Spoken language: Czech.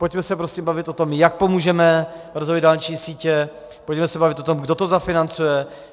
Pojďme se prosím bavit o tom, jak pomůžeme rozvoji dálniční sítě, pojďme se bavit o tom, kdo to zafinancuje.